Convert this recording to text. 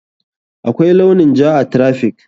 Akwai launin ja a traffic.